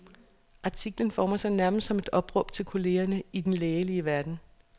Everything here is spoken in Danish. Artiklen former sig nærmest som et opråb til kollegerne i den lægelige verden.